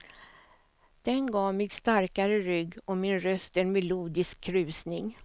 Den gav mig starkare rygg och min röst en melodisk krusning.